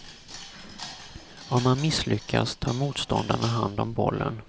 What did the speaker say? Om man misslyckas, tar motståndarna hand om bollen.